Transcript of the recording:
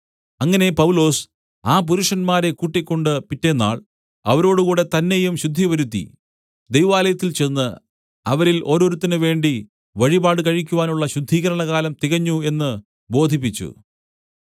അങ്ങനെ പൗലൊസ് ആ പുരുഷന്മാരെ കൂട്ടിക്കൊണ്ട് പിറ്റെന്നാൾ അവരോടുകൂടെ തന്നെയും ശുദ്ധിവരുത്തി ദൈവാലയത്തിൽ ചെന്ന് അവരിൽ ഓരോരുത്തനുവേണ്ടി വഴിപാട് കഴിക്കുവാനുള്ള ശുദ്ധീകരണകാലം തികഞ്ഞു എന്നു ബോധിപ്പിച്ചു